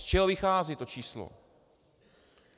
Z čeho vychází to číslo?